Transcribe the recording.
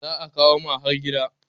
za a kawo ma har gida